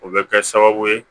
O bɛ kɛ sababu ye